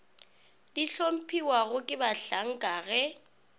di hlomphiwago ke bahlanka ge